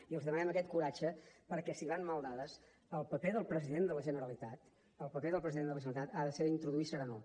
i els demanem aquest coratge perquè si van mal dades el paper del president de la generalitat el paper del president de la generalitat ha de ser introduir serenor